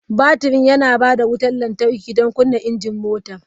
Batirin yana ba da wutar lantarki don kunna injin mota.